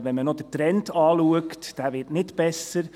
Wenn man noch den Trend anschaut, wird dieser nicht besser.